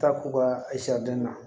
Taa k'u ka den na